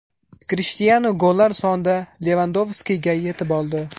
Krishtianu gollar sonida Levandovskiga yetib oldi.